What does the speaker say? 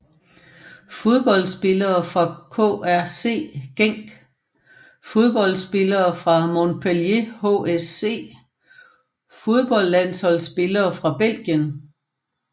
Fodboldspillere fra KRC Genk Fodboldspillere fra Montpellier HSC Fodboldlandsholdsspillere fra Belgien